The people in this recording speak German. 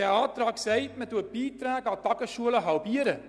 Der Antrag besagt, dass man die Beiträge an die Tagesschulen halbiert.